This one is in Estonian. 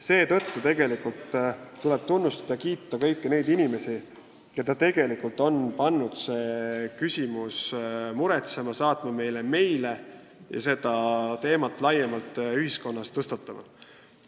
Seetõttu tuleb tunnustada, kiita kõiki neid inimesi, keda see küsimus on muretsema pannud, kes on saatnud Riigikogusse meile ja selle teema ka laiemalt ühiskonnas tõstatanud.